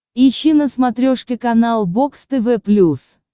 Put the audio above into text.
ищи на смотрешке канал бокс тв плюс